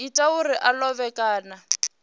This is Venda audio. ita zwauri a lovhe kana